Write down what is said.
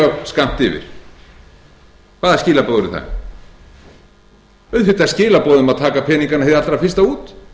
skammt yfir hvaða skilaboð eru það auðvitað skilaboð um að taka peningana hið allra fyrsta út